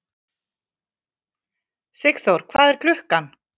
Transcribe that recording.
Sigþór, hvað er klukkan?